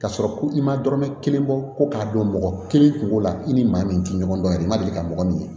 K'a sɔrɔ ko i ma dɔrɔmɛ kelen bɔ ko k'a dɔn mɔgɔ kelen kungo la i ni maa min tɛ ɲɔgɔn dɔn yɛrɛ i ma deli ka mɔgɔ min ye